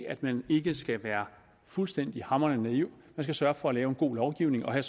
at man ikke skal være fuldstændig hamrende naiv skal sørge for at lave en god lovgivning og her